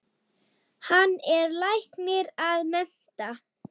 Hann er læknir að mennt.